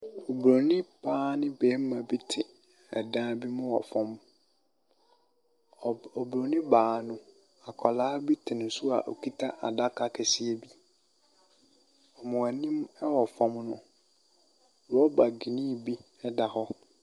Obroni baa ne bɛrima bi te ɛdan bi mu wɔ fam. Obroni baa no, akɔla bi te ne so a okita adaka kɛseɛ bi. Wɔn anim ɛwɔ fam no, rɔba griin bi ɛda hɔ.